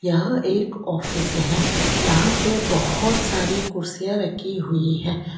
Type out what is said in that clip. यह एक ऑफिस है। यहां पे बहोत सारी कुर्सियां रखी हुई है।